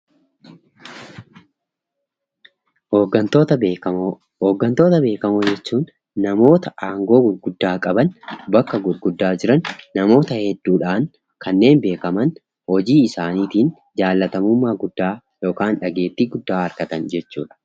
Hoggantoota Beekamoo: Hoggantoota beekamoo jechuun namoota aangoo gurguddaa qaban, bakka gurguddaa jiran, namoota hedduudhaan kanneen beekaman, hojii isaaniitiin jaallatamummaa guddaa yookaan dhageettii guddaa argatan jechuudha.